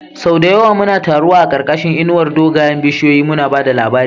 Sau da yawa muna taruwa a ƙarƙashin inuwar dogayen bishiyoyi, muna ba da labari.